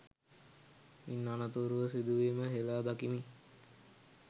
ඉන් අනතුරුව සිදුවීම හෙලා දකිමි